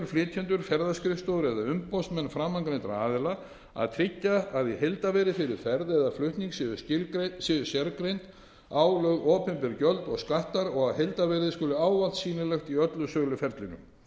ferðaskrifstofur eða umboðsmenn framangreindra aðila að tryggja að í heildarverði fyrir ferð eða flutning séu sérgreind álögð opinber gjöld og skattar og að heildarverðið skuli ávallt sýnilegt í öllu söluferlinu